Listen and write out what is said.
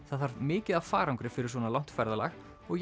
það þarf mikið af farangri fyrir svona langt ferðalag og